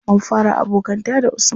Mun fara abokanta da usman.